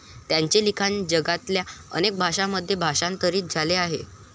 त्यांचे लिखाण जगातल्या अनेक भाषांमध्ये भाषांतरित झाले आहे.